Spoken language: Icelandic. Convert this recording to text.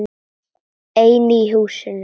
Einn í húsinu.